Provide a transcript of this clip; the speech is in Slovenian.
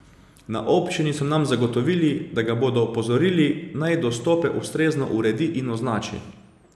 Na občini so nam zagotovili, da ga bodo opozorili, naj dostope ustrezno uredi in označi.